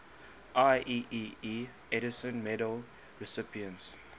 ieee edison medal recipients